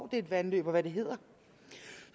det er et vandløb og hvad det hedder